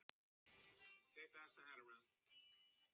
Stjórnin ber ábyrgð á því að þessu skilyrði sé fullnægt.